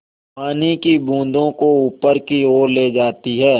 पानी की बूँदों को ऊपर की ओर ले जाती है